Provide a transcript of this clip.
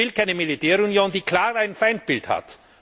Ich will keine Militärunion, die klar ein Feindbild hat.